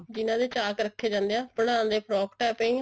ਜਿਹਨਾ ਦੇ ਚਾਕ ਰੱਖੇ ਜਾਂਦੇ ਐ ਬਣਾਉਣ ਦੇ frock type ਈ ਐ